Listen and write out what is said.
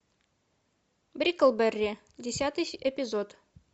бриклберри десятый эпизод